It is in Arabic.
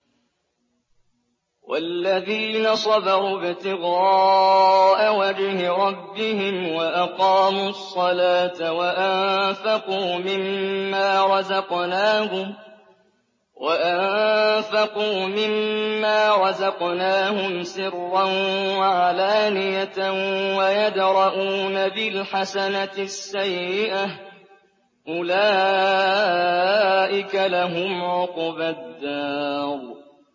وَالَّذِينَ صَبَرُوا ابْتِغَاءَ وَجْهِ رَبِّهِمْ وَأَقَامُوا الصَّلَاةَ وَأَنفَقُوا مِمَّا رَزَقْنَاهُمْ سِرًّا وَعَلَانِيَةً وَيَدْرَءُونَ بِالْحَسَنَةِ السَّيِّئَةَ أُولَٰئِكَ لَهُمْ عُقْبَى الدَّارِ